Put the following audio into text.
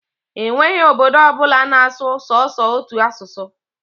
E nweghi obodo ọbụla na-asụ sọsọ otu asụsụ.